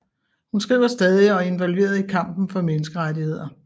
Hun skriver stadig og er involveret i kampen for menneskerettigheder